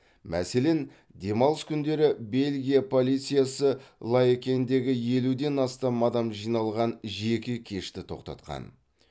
мәселен демалыс күндері бельгия полициясы лаекендегі елуден астам адам жиналған жеке кешті тоқтатқан